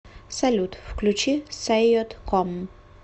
салют включи саййод ком